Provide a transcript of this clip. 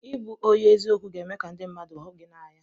Ịbụ onye eziokwu ga-eme ka ndị mmadụ hụ gị n'anya.